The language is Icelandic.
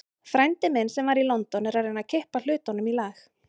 Frændi minn, sem var í London, er að reyna að kippa hlutunum í lag.